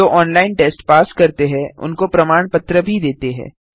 जो online test pass करते हैं उनको प्रमाण पत्र भी देते हैं